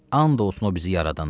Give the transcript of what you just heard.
And olsun o bizi yaradana.